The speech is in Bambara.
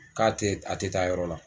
K'a te a te taa yɔrɔ la